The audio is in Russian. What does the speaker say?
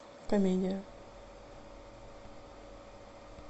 комедия